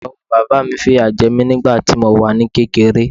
Ìyàwó bàbá mi fìyà jẹ mí nígbà tí mo wà ní kékeré.